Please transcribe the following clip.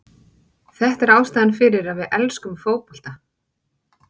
Þetta er ástæðan fyrir að við elskum fótbolta.